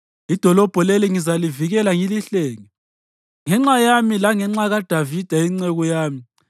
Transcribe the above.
Idolobho leli ngizalivikela ngilihlenge, ngenxa yami langenxa kaDavida inceku yami!